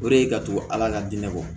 O de ye ka to ala ka diinɛ bɔ